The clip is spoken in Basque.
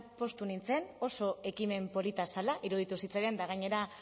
poztu nintzen oso ekimen polita zela iruditu zitzaidan eta gainera